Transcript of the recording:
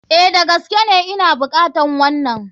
A,Da gaskene Ina bukatar wanan.